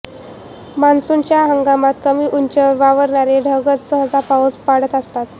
मान्सूच्या हंगामात कमी उंचीवर वावरणारे ढगच सहसा पाऊस पाडत असतात